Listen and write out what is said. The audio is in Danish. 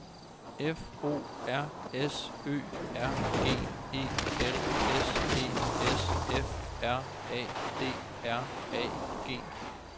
F O R S Ø R G E L S E S F R A D R A G